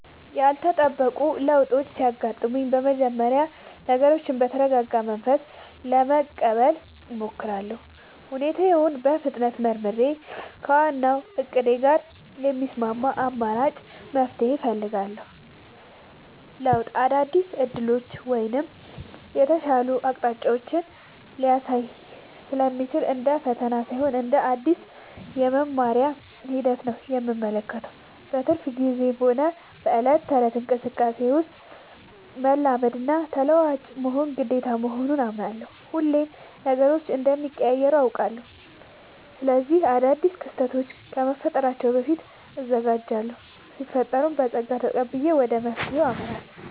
ያልተጠበቁ ለውጦች ሲያጋጥሙኝ በመጀመሪያ ነገሮችን በተረጋጋ መንፈስ ለመቀበል እሞክራለሁ። ሁኔታውን በፍጥነት መርምሬ፣ ከዋናው እቅዴ ጋር የሚስማማ አማራጭ መፍትሄ እፈልጋለሁ። ለውጥ አዳዲስ ዕድሎችን ወይም የተሻሉ አቅጣጫዎችን ሊያሳይ ስለሚችል፣ እንደ ፈተና ሳይሆን እንደ አዲስ የመማሪያ ሂደት ነው የምመለከተው። በትርፍ ጊዜዬም ሆነ በዕለት ተዕለት እንቅስቃሴዬ ውስጥ፣ መላመድና ተለዋዋጭ መሆን ግዴታ መሆኑን አምናለሁ። ሁሌም ነገሮች እንደሚቀያየሩ አውቃለሁ። ስለዚህ አዳዲስ ክስተቶች ከመፈጠራቸው በፊት እዘጋጃለሁ ሲፈጠርም በፀጋ ተቀብዬ ወደ መፍትሄው አመራለሁ።